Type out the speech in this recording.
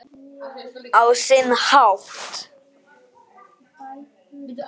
Á sinn hátt.